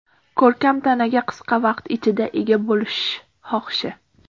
Ko‘rkam tanaga qisqa vaqt ichida ega bo‘lish xohishi.